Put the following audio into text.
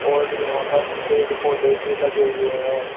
और यहां पर पेड़ पौधे भी लगे हुए हैं।